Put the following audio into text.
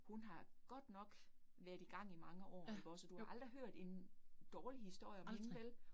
Hun har godt nok været i gang i mange år ikke også, og du har aldrig hørt en dårlig historie om hende vel